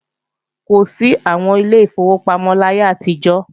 Kò sí àwọn Ilé ìfowópamọ́ láyé àtijọ́